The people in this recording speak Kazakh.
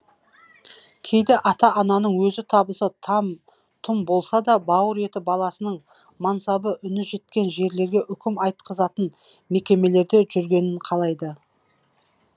кейде ата ананың өзі табысы там тұм болса да бауыр еті баласының мансабы үні жеткен жерлерге үкім айтқызатын мекемелерде жүргенін қалайды